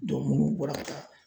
munnu bɔra ka taa